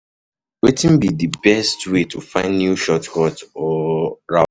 Wetin be di best way to find new shortcuts or routes?